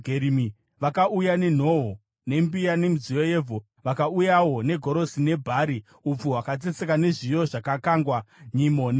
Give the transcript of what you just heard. vakauya nenhoo nembiya nemidziyo yevhu. Vakauyawo negorosi nebhari, upfu hwakatsetseka nezviyo zvakakangwa, nyimo nenyemba,